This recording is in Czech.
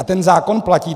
A ten zákon platí.